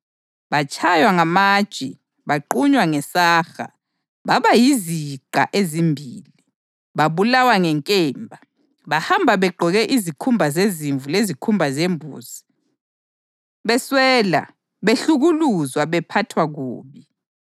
Batshaywa ngamatshe, baqunywa ngesaha baba yiziqa ezimbili; babulawa ngenkemba. Bahamba begqoke izikhumba zezimvu lezikhumba zembuzi, beswela, behlukuluzwa, bephathwa kubi,